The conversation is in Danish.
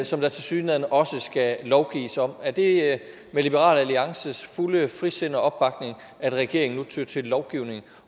som der tilsyneladende også skal lovgives om er det med liberal alliances fulde frisind og opbakning at regeringen nu tyr til en lovgivning